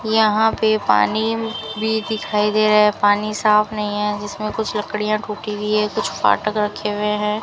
यहां पे पानी भी दिखाई दे रहा है पानी साफ नहीं है जिसमें कुछ लकड़ियां टूटी हुई है कुछ फाटक रखे हुए हैं।